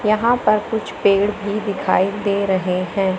यहां पर कुछ पेड़ भी दिखाई दे रहे हैं।